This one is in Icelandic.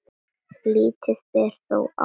Lítið ber þó á því.